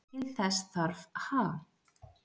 Til þess þarf Ha?